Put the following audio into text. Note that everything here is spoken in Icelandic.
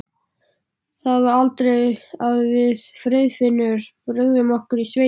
Það var aldrei að við Friðfinnur brugðum okkur í sveitina.